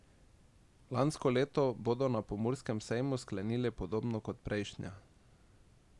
Lansko leto bodo na Pomurskem sejmu sklenili podobno kot prejšnja.